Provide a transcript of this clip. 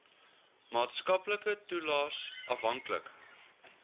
maatskaplike toelaes afhanklik